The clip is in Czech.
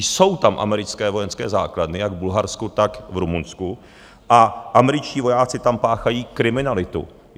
Jsou tam americké vojenské základny - jak v Bulharsku, tak v Rumunsku - a američtí vojáci tam páchají kriminalitu.